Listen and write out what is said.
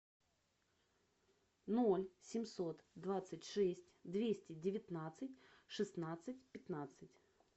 ноль семьсот двадцать шесть двести девятнадцать шестнадцать пятнадцать